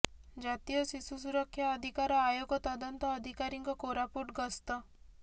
ଜାତୀୟ ଶିଶୁ ସୁରକ୍ଷା ଅଧିକାର ଆୟୋଗ ତଦନ୍ତ ଅଧିକାରୀଙ୍କ କୋରାପୁଟ ଗସ୍ତ